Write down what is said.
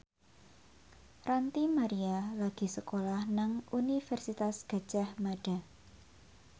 Ranty Maria lagi sekolah nang Universitas Gadjah Mada